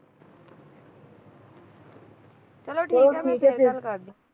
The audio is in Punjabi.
ਚਲੋਂ ਠੀਕ ਹੈ ਮੈਂ ਫਿਰ ਗੱਲ ਕਰਦੀ